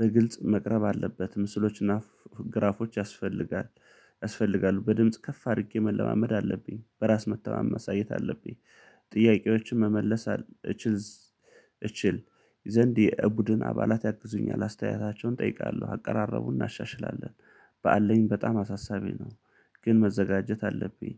በግልጽ መቅረብ አለበት። ምስሎችና ግራፎች ያስፈልጋል። ያስፈልጋሉ በድምጽ ከፍ አድርጌ መለማመድ አለብኝ በራስ መተማመን ማሳየት አለብኝ። ጥያቄዎችን መመለስ አለችኝ። እችል እችል ዘንድ የቡድን አባላት ያግዙኛል አስተያየታቸውን እጠይቃለሁ አቀራረቡን እናሻሽላለን። በአለኝ በጣም አሳሳቢ ነው። ግን መዘጋጀት አለብኝ።